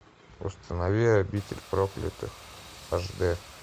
установи обитель проклятых аш дэ